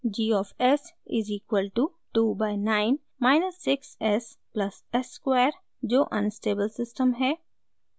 g of s is equal to 2 by 9 minus 6 s plus s square जो unstable system है